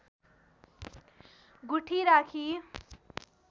गुठी राखी